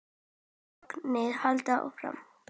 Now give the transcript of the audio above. Þögnin heldur áfram.